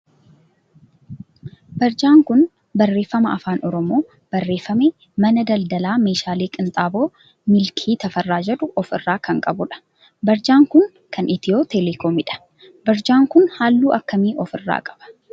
barjaa kun barreeffama afaan oromon barreeffame mana daldalaa meeshaalee qinxaaboo milkii Tafarraa jedhu of irraa kan qabu dha. barjaan kun kan Itiyoo Telekoomidha. barjaan kun halluu akkamii of irraa qaba?